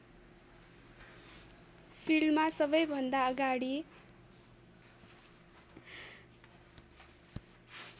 फिल्डमा सबैभन्दा अगाडि